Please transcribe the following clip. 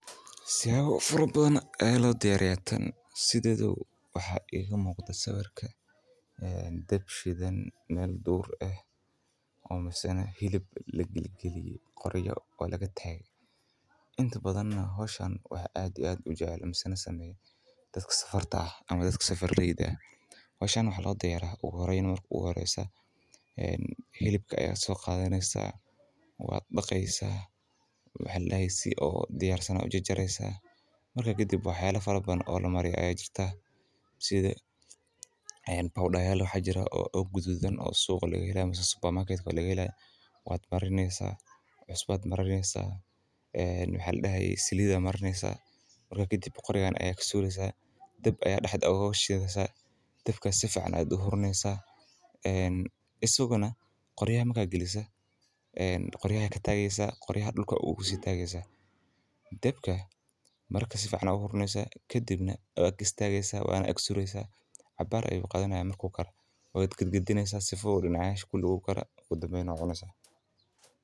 Tira oo faro badan. Eelo diyaar tan sideedu waxa ay igu muqda sawirka, ee, dabshidan meel duur ah oo ma ahsana hilib la geli geliyay qoriyo oo laga taag. Inta badanna howshan, waxaa aad u aad u jeceel isaga sameeyay dadka safarta ah ama dadka safarida. Howshan waxa loo diyaar ah u horeyneyn markuu u horeysa, een, helibka ayaa soo qaadanyiisa waa dhaqaysa waxeellaaysi oo diyaar san oo jejeraysa. Markaa ka dib waxeella faro badan oo la mariyo ayee jirta. Sida ay powder yal loo xajira oo u gududan oo suuqa laga helaa masa supermarket laga helay, waad maraynaysa, cusub aad maraysa, een, wixii la dihi selida aad maraysa. Markaa kadib qoriyaan ayaa kasoo leysaa. Dab ayaa dhaxdhowga hawshidaasa. Dabka si fican aad u hurmaysa. Een, isaguna qoriyaa ma ka gelisa. Eeen, qoriyaa ka taagaysa qoriya dhulka ugu siitaageysa. Dabka markaa siifican u hurmaysa kadibna aya gistaagaysa waana akksuureysaa cabbaara ayuu qaadinaayaa markuu kara weydigid geliye sifuud in aash ku dhuula kara kuu dambeeyay cuuniysa.